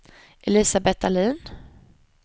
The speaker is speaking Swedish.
Elisabet Dahlin